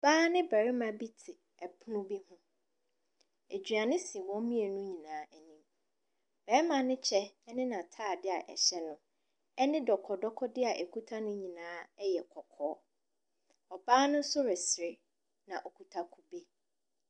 Ɔbaa ne barima bi te pono bi ho. Aduane si wɔn mmienu nyinaa anim. Barima no kyɛ ne n'atadeɛ a ɛhyɛ no ne dɔkɔdɔkɔdeɛ a ɛkita no nyinaa yɛ kɔkɔɔ. Ɔbaa no nso resere, na ɔkuta kube.